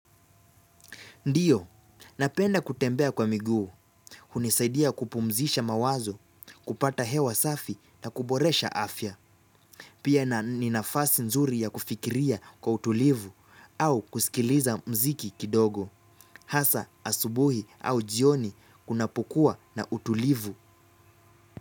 Ndiyo, napenda kutembea kwa miguu. Hunisaidia kupumzisha mawazo, kupata hewa safi na kuboresha afya. Pia na ni nafasi nzuri ya kufikiria kwa utulivu au kusikiliza mziki kidogo. Hasa asubuhi au jioni kunapokuwa na utulivu.